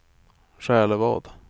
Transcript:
Själevad